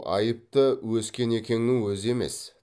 айыпты өскенекеңнің өзі емес